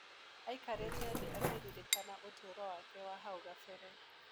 Aikarĩte thĩ akĩririkana ũtũũro wake wa hau kabere.